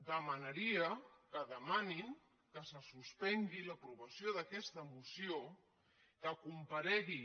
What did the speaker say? demanaria que demanin que se suspengui l’aprovació d’aquesta moció que comparegui